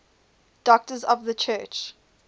doctors of the church